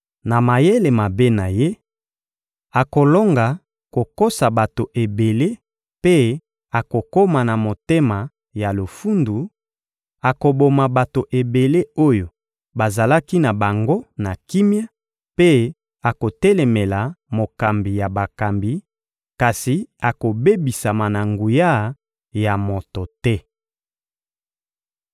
Na mayele mabe na ye, akolonga kokosa bato ebele mpe akokoma na motema ya lofundu; akoboma bato ebele oyo bazalaki na bango na kimia mpe akotelemela Mokambi ya bakambi, kasi akobebisama na nguya ya moto te.